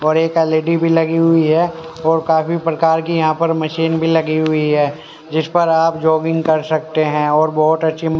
और एक एल_इ_डी भी लगी हुई है और काफी प्रकार की यहां पर मशीन भी लगी हुई है जिस पर आप जॉगिंग कर सकते हैं और बहुत अच्छी--